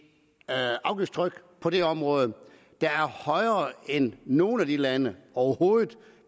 afgiftstryk på det område der er højere end nogle af de landes overhovedet